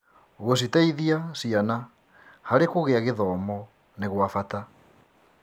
Gũciteithia ciana harĩ kũgĩa gĩthomo nĩ gwa bata.